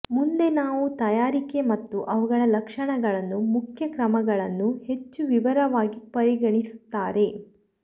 ಮುಂದೆ ನಾವು ತಯಾರಿಕೆ ಮತ್ತು ಅವುಗಳ ಲಕ್ಷಣಗಳನ್ನು ಮುಖ್ಯ ಕ್ರಮಗಳನ್ನು ಹೆಚ್ಚು ವಿವರವಾಗಿ ಪರಿಗಣಿಸುತ್ತಾರೆ